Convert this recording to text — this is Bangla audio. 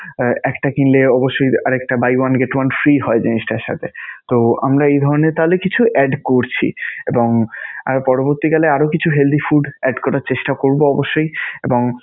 আহ একটা কিনলে অবশ্যই আর একটা buy one get one free হয় জিনিসটার সাথে. তো আমরা এই ধরণের তাহলে কিছু add করছি এবং আরও পরবর্তীকালে আরও কিছু healthy food add করার চেষ্টা করবো অবশ্যই এবং